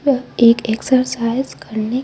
यह एक एक्सरसाइज करने--